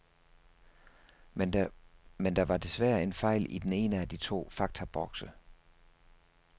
Men der var desværre en fejl i den ene af de to faktabokse.